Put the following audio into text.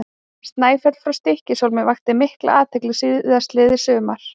Snæfell frá Stykkishólmi vakti mikla athygli síðastliðið sumar.